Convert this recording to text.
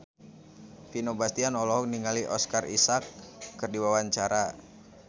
Vino Bastian olohok ningali Oscar Isaac keur diwawancara